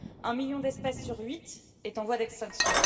Un million d'espèces sur huit est en voie d'extinction.